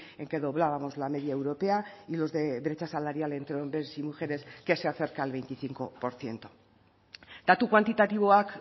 en que doblábamos la media europea y los de brecha salarial entre hombres y mujeres que se acerca al veinticinco por ciento datu kuantitatiboak